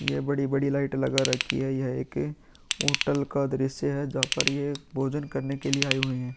ये बड़ी-बड़ी लाइट लगा रखी है। यह एक होटल का दृश्य है जहाँ पर ये भोजन करने के लिए आई हुई है।